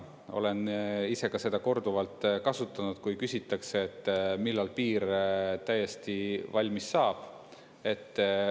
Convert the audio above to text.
Olen ise seda ka korduvalt kasutanud, kui küsitakse, et millal piir täiesti valmis saab.